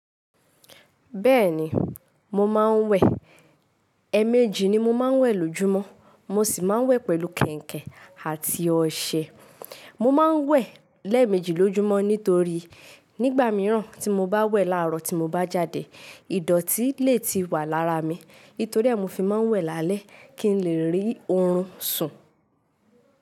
Bẹ́ẹ̀ni, mo máa ń wẹ̀. Ẹ̀ẹ̀mejì ni mo máa ń wẹ̀ lójúmọ́. Mo sì máa ń wẹ̀ pẹ̀lú kẹ̀ǹkẹ̀ àti ọṣẹ. Mo máa ń wẹ̀ lẹ́ẹ̀mejì lójúmọ́ nítorí nígbà mìíràn tí mo bá wẹ̀ láàárọ̀ tí mo bá jáde, ìdọ̀tí lè ti wà lára mi. Nítorí ẹ́, mo fi máa ń wẹ̀ lálẹ́ kí n lè rí oorun sùn.